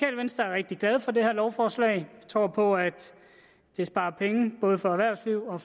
venstre er rigtig glade for det her lovforslag vi tror på at det sparer penge både erhvervslivet og